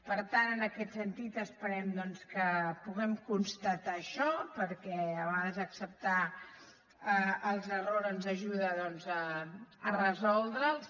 per tant en aquest sentit esperem que puguem constatar això perquè a vegades acceptar els errors ens ajuda a resoldre’ls